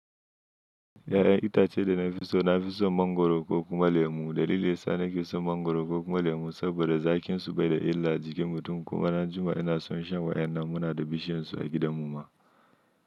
Ya'yan itacen da na fi so na fi son mangoro ko kuma lemu. Dalilin sa na ke son mangoro ko kuma lemu saboda zakinsu bai da illa jikin mutum kuma na Juma ina son shan wa'yan nan muna da bishiyarsu a gidan mu ma.